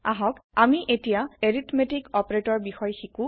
আহক আমি আতিয়া এৰিথমেতিক অপাৰেতৰৰ বিষয়ে শিকো